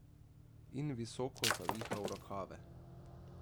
In visoko zavihal rokave.